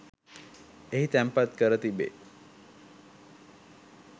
එහි තැන්පත් කර තිබේ.